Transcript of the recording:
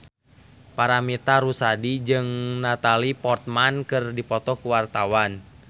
Paramitha Rusady jeung Natalie Portman keur dipoto ku wartawan